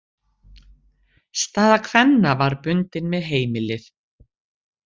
Staða kvenna var bundin við heimilið.